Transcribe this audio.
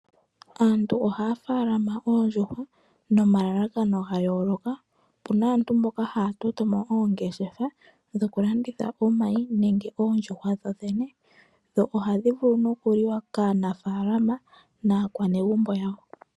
Aantu ohaya faalama oondjuhwa nomalalakano ga yooloka. Opu na aantu mboka haya toto mo oongeshefa dhokulanditha omayi nenge oondjuhwa dho dhene. Dho ohadhi vulu nokuliwa kaanafaalama naakwanegumbo yawo.